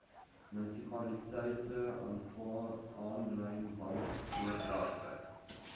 munisipaliteite aanvaar aanlynbankoordragte